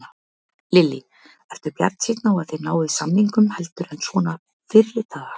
Lillý: Ertu bjartsýnn á að þið náið samningum heldur en svona fyrri daga?